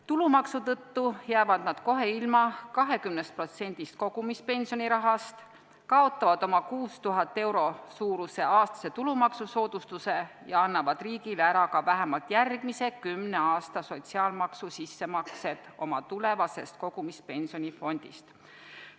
Tulumaksu tõttu jäävad nad kohe ilma 20% kogumispensioni rahast, kaotavad oma 6000 euro suuruse aastase tulumaksusoodustuse ja annavad riigile ära ka vähemalt järgmise kümne aasta sotsiaalmaksu sissemaksed oma tulevasest kogumispensioni fondist.